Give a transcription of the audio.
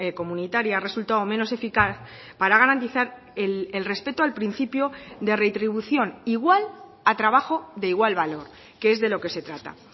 comunitaria ha resultado menos eficaz para garantizar el respeto al principio de retribución igual a trabajo de igual valor que es de lo que se trata